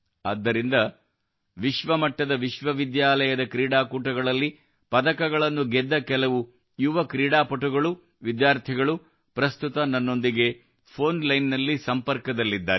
ಆದ್ದರಿಂದ ವಿಶ್ವಮಟ್ಟದ ವಿಶ್ವವಿದ್ಯಾಲಯದ ಕ್ರೀಡಾಕೂಟದಲ್ಲಿ ಪದಕಗಳನ್ನು ಗೆದ್ದ ಕೆಲವು ಯುವ ಕ್ರೀಡಾ ಪಟುಗಳು ವಿದ್ಯಾರ್ಥಿಗಳು ಪ್ರಸ್ತುತ ನನ್ನೊಂದಿಗೆ ಫೋನ್ ಲೈನ್ನಲ್ಲಿ ಸಂಪರ್ಕದಲ್ಲಿದ್ದಾರೆ